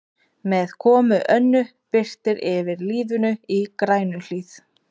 Með komu Önnu birtir yfir lífinu í Grænuhlíð.